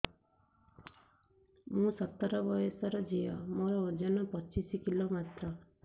ମୁଁ ସତର ବୟସର ଝିଅ ମୋର ଓଜନ ପଚିଶି କିଲୋ ମାତ୍ର